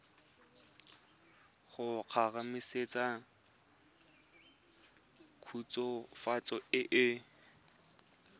go kgomaretsa khutswafatso e e